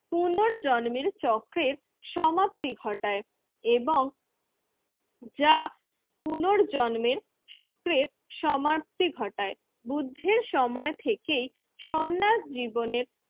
জন্মের চক্রের সমাপ্তি ঘটায় এবং যা পুনর্জন্মের চক্রের সমাপ্তি ঘটায়। বুদ্ধের সময় থেকে সন্ন্যাস জীবনের